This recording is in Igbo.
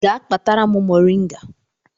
Gaa kpatara m moringa